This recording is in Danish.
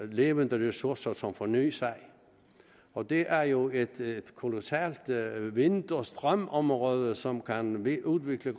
levende ressourcer som fornyer sig og der er jo et kolossalt vind og strømområde som kan blive udviklet